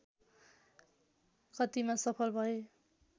कतिमा सफल भए